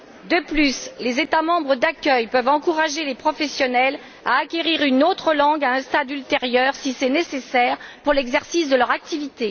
De plus, les États membres d'accueil peuvent encourager les professionnels à acquérir une autre langue à un stade ultérieur, si c'est nécessaire, pour l'exercice de leur activité.